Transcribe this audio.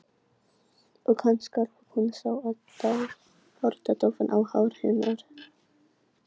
Og hann skalf og hún sá að tár datt ofan á hár hennar.